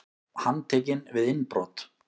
Handtekinn við innbrot